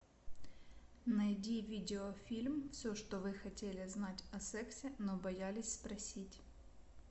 найди видеофильм все что вы хотели знать о сексе но боялись спросить